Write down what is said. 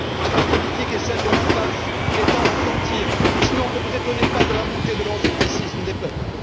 Votre politique est celle de l'impasse, il est temps d'en sortir, sinon, ne vous étonnez pas de la montée de l'euroscepticisme des peuples.